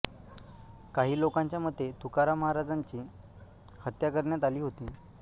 काही लोकांच्या मते तुकाराम महाराजांची हत्या करण्यात आली होती